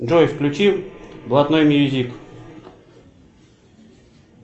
джой включи блатной мьюзик